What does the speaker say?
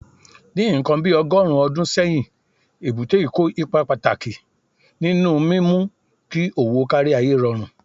Ní nǹkan bí ọgọ́rùn-ún ọdún sẹ́yìn, èbúté yìí kó ipa pàtàkì nínú mímú kí òwò kárí ayé rọrùn.